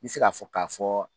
N bɛ se k'a fɔ k'a fɔ